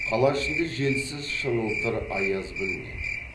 қала ішінде желсіз шыңылтыр аяз білінеді